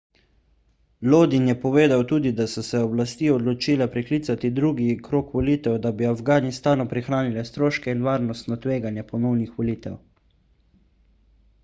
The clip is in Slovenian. lodin je povedal tudi da so se oblasti odločile preklicati drugi krog volitev da bi afganistanu prihranile stroške in varnostno tveganje ponovnih volitev